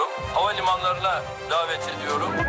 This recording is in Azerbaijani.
Hava limanlarına dəvət edirəm.